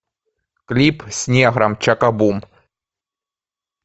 клип с негром чакабум